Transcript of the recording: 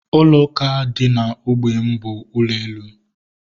Ụlọ ụka dị na ógbè m bụ ụlọ elu